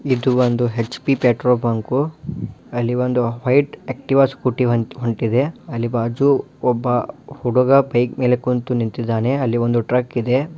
ಇದು ಒಂದು HP petrol bunk ಅಲ್ಲೊಂದು ಬೈಕ್ ಆಕ್ಟಿವ ಸ್ಕೂಟಿ ಹೋಗ್ತಾ ಇದೆ ಹಂಗೆ ಅಲ್ಲಿ ಒಬ್ಬ ಹುಡುಗ ಬೈಕು ನಡೆಸಿಕೊಂಡು ನಿಂತಿದ್ದಾನೆ ಹಿಂದೆ ಒಂದು ಟ್ರಿಕ್ ಇದೆ.